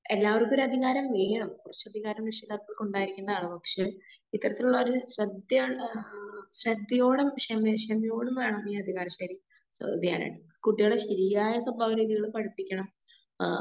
എല്ലാവർക്കും ഒരാധികാരം വേണം. കുറച്ചധികാരം രക്ഷിതാക്കൾക്കുണ്ടാവേണ്ട ആവശ്യം ഇത്തരത്തിലുള്ള ഒരു ശ്രെദ്ധയോടെ ശ്രേദ്ദേയുടെയും ക്ഷമേഷ്ണതയോടെയും വേണം ഈ കുട്ടികളെ ശെരിയായ സ്വഭാവ രീതിയിലൂടെ പഠിപ്പിക്കണം. ആ